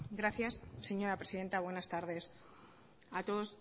gracias señora presidenta buenas tardes a todos